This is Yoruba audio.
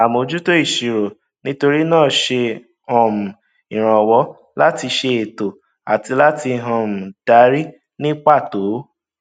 àmójútó ìṣirò nítorí náà ń ṣe um ìrànwọ láti ṣe ètò àti láti um darí ní pàtó